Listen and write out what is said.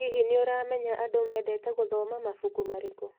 Hihi, nĩ ũramenya andũ mendete gũthoma mabuku marĩkũ?